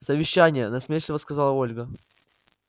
совещание насмешливо сказала ольга